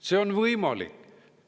See on võimalik.